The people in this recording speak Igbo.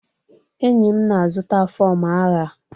enyi m na-azụta fọm agha